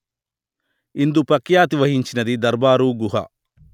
ఇందు ప్రఖ్యాతి వహించినది దర్బారుగుహ